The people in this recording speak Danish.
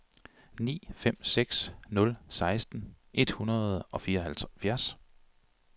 ni fem seks nul seksten et hundrede og fireoghalvfjerds